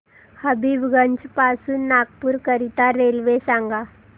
हबीबगंज पासून नागपूर करीता रेल्वे सांगा